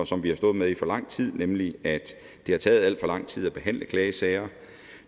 som vi har stået med i for lang tid nemlig at det har taget alt for lang tid at behandle klagesager